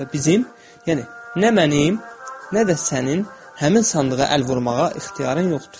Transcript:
Və bizim, yəni nə mənim, nə də sənin həmin sandığa əl vurmağa ixtiyarın yoxdur.